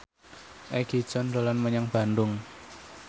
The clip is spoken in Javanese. Egi John dolan menyang Bandung